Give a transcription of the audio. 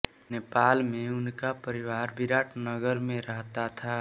नेपाल में उनका परिवार बिराटनगर में रहता था